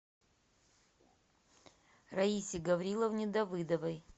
раисе гавриловне давыдовой